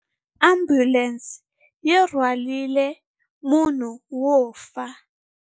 Ambulense yi rhwarile munhu wo fa.